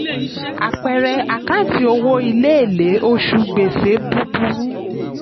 àpẹẹrẹ: àkáǹtì owó ilé èlé oṣù gbèsè búburú.